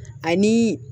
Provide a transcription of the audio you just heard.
Ani